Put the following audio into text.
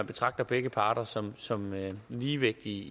betragter begge parter som som ligevægtige